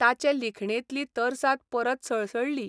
ताचे लिखणेंतली तरसाद परत सळसळ्ळी.